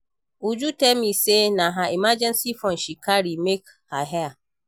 Uju tell me say na her emergency fund she carry make her hair